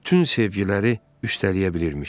Bütün sevgiləri üstələyə bilirmiş.